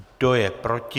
Kdo je proti?